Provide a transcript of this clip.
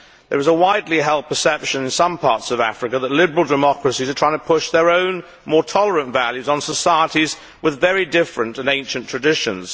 There is a widely held perception in some parts of Africa that liberal democracies are trying to push their own, more tolerant, values on societies with very different and ancient traditions.